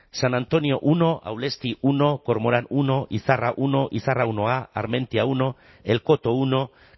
san antoniomenos uno aulestimenos uno cormoránmenos uno izarramenos uno izarraminus bata armentiamenos uno el cotomenos uno